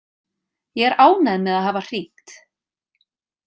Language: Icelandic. Ég er ánægð með að hafa hringt.